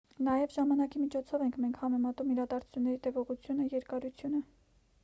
նաև ժամանակի միջոցով ենք մենք համեմատում իրադարձությունների տևողությունը երկարությունը: